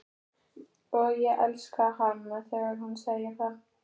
Og ég elska hana þegar hún segir það.